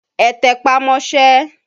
Ẹ tẹpá mọ́ṣẹ́!